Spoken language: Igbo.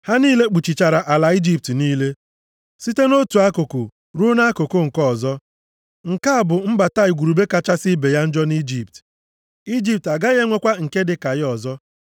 Ha niile kpuchichara ala Ijipt niile, site nʼotu akụkụ ruo nʼakụkụ nke ọzọ. Nke a bụ mbata igurube kachasị ibe ya njọ nʼIjipt. Ijipt agaghị enwekwa nke dịka ya ọzọ.